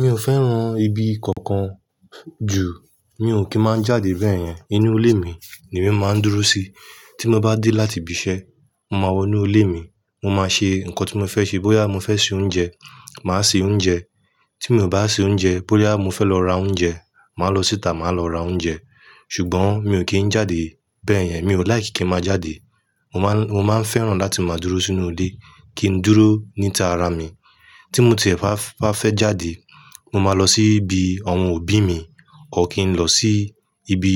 Mi ò fẹ́ràn ibi kankan jù, mi ò kí ń má jáde bẹ́ẹ̀ yẹn. Inú ilé mi le mi máa ń dúró sí. Tí mo bá dé láti ibi iṣẹ́, mo máa wọ inú ilé mi. Mo máa ṣe nǹkan tí mo fẹ́ ṣe. Bóyá mo fẹ́ ṣe oúnjẹ, màá ṣe oúnjẹ. Tí mi ò bá ṣe oúnjẹ, bóyá mo fẹ́ lọ ra oúnjẹ, màá lọ síta, màá lọ ra oúnjẹ. Ṣùgbọ́n mi ò kí ń jáde bẹ́ẹ̀ yẹn. Mi ò like kí ń má jáde. Mo máa, mo máa fẹ́ràn láti máa dúró sínú ilé, kí ndúró níta ara mi. Tí mo tìẹ̀ bá fẹ́ jáde, mo máa lọ sí ibi àwọn òbí mi, ò kí ń lọ sí ibi